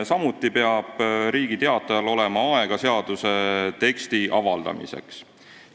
Samuti peab Riigi Teatajal olema aega seaduse teksti avaldamiseks.